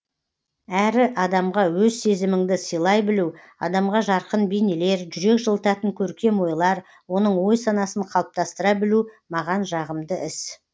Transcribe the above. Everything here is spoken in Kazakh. әрі адамға өз сезіміңді сыйлай білу адамға жарқын бейнелер жүрек жылытатын көркем ойлар оның ой санасын қалыптастыра білу маған жағымды іс